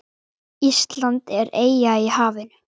Ísland er eyja í hafinu.